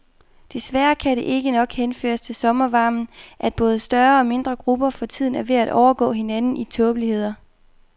Desværre kan det nok ikke henføres til sommervarmen, at både større og mindre grupper for tiden er ved at overgå hinanden i tåbeligheder.